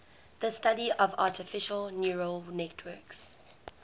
the study of artificial neural networks